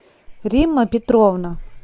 римма петровна